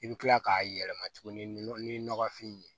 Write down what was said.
I bɛ kila k'a yɛlɛma tuguni ni nɔgɔfin ye